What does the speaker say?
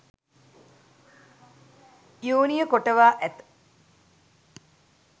යෝනිය කොටවා ඇත